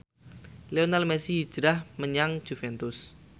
Lionel Messi hijrah menyang Juventus